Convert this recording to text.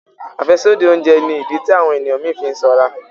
afẹsodi oúnjẹ ní ìdí tí àwọn ènìyàn mí fí sanra